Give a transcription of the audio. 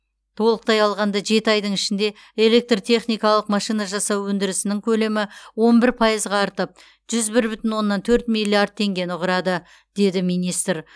толықтай алғанда жеті айдың ішінде электртехникалық машина жасау өндірісінің көлемі он бір пайызға артып жүз бір бүтін оннан төрт миллиард теңгені құрады деді министр